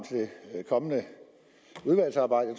det kommende udvalgsarbejde